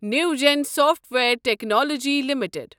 Newgen software technologies limited